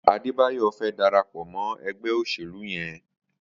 Adebayo fè dàrápọ̀ mọ ẹgbẹ óṣélú yèn